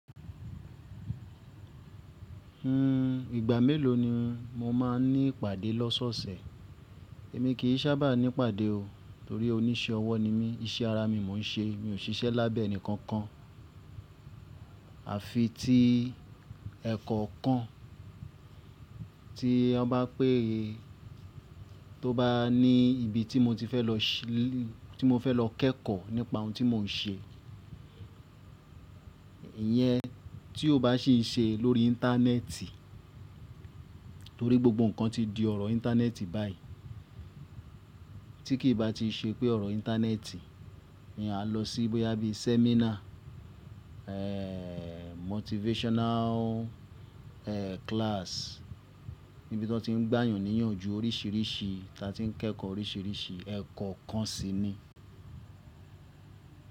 Hmm, ìgbà mélòó ni mo máa ń ní ìpàdé lọ́sọ̀ọ̀sẹ̀? Èmi kì í sábà ní ìpàdé o, torí oníṣẹ́ ọwọ́ ni mí, iṣẹ́ ara mi mò ń ṣe. Mi ò ṣiṣẹ́ lábẹ́ ẹnìkankan àfi ti ẹ̀e kọ́kan tí wọ́n bá pé tó bá ní ibi tí mo ti fẹ́ lọ ṣẹ́ tí mo fẹ́ lọ kẹ́kọ̀ọ́ nípa ohun tí mò ń ṣe. Ìyẹn tí ó bá sìn ṣe lórí Íńtánẹ́ẹ̀tì torí gbogbo ǹkan ti di ọ̀rọ̀ Íńtánẹ́ẹ̀tì báyìí. Tí kì í bá ti ṣe pé ọ̀rọ̀ Íńtánẹ́ẹ̀tì ni a lọ sí boya bi sẹ́mínà, eeh motivational eeh class níbi tí wọ́n ti ń gbàyàn níyànju oríṣìíríṣìí tí a ti ń kẹ́kọ̀ọ́ oríṣìíríṣìí ẹ̀kọ́ kan si ni.